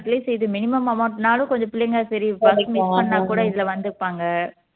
atleast இது minimum amount ன்னாலும் கொஞ்சம் பிள்ளைங்க சரி bus miss பண்ணா கூட இதுல வந்துப்பாங்க